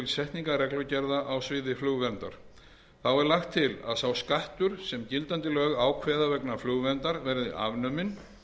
setningar reglugerða á sviði flugverndar þá er lagt til að sá skattur sem gildandi lög ákveða vegna flugverndar verði afnuminn